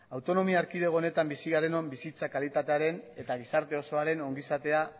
autonomia erkidego honetan bizi garenon bizitza kalitatearen eta gizarte osoaren ongizatea